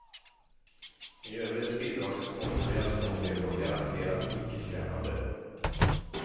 I övrigt är bidragen småroliga, småtrevliga och garanterat ickeskrämmande.